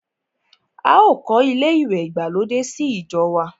A ò kọ́ ilé ìwẹ̀ ìgbàlódé sí ìjọ wa.